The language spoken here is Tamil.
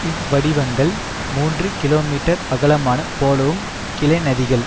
இவ்வடிவங்கள் மூன்று கிலோமீட்டர் அகலமான போலவும் கிளைநதிகள்